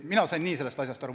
Mina sain nii sellest asjast aru.